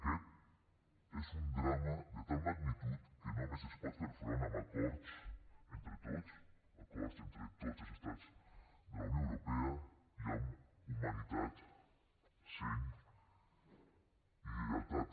aquest és un drama de tal magnitud que només s’hi pot fer front amb acords entre tots acords entre tots els estats de la unió europea i amb humanitat seny i lleialtat